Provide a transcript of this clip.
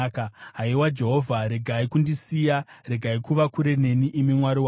Haiwa Jehovha, regai kundisiya; regai kuva kure neni, imi Mwari wangu.